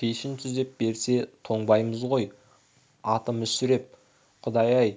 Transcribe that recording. пешін түзеп берсе тоңбаймыз ғой аты мүсіреп ә құдай-ай